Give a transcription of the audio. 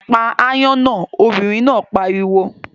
Pa aáyán náà, obìnrin náà pariwo!